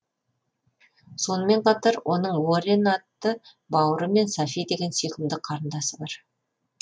сонымен қатар оның уоррен атты бауыры және софи деген сүйкімді қарындасы бар